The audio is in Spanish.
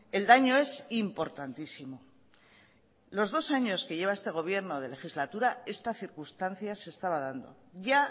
el daño es importantísimo los dos años que lleva este gobierno de legislatura esta circunstancia se estaba dando ya